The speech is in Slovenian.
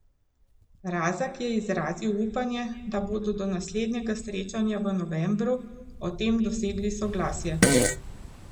Razak je izrazil upanje, da bodo do naslednjega srečanja v novembru o tem dosegli soglasje.